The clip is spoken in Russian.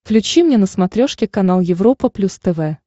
включи мне на смотрешке канал европа плюс тв